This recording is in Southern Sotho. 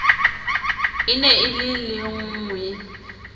e ne e le lengwee